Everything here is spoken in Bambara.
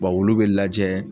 wulu bɛ lajɛ.